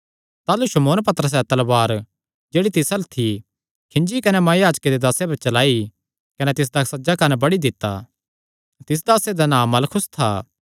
ताह़लू शमौन पतरसैं तलवार जेह्ड़ी तिस अल्ल थी खींजी कने महायाजके दे दासे पर चलाई कने तिसदा सज्जा कंन्न बड्डी दित्ता तिस दासे दा नां मलखुस था